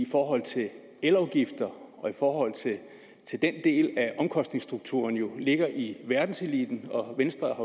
i forhold til elafgifter og i forhold til den del af omkostningsstrukturen ligger i verdenseliten og venstre